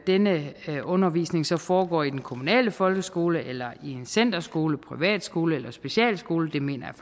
denne undervisning så foregår i den kommunale folkeskole en centerskole en privatskole eller en specialskole mener jeg